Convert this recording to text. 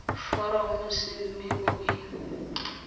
foromo c mme o e